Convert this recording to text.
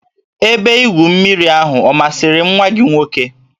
Ebe igwu mmiri ahụ ọ masịrị nwa gị nwoke?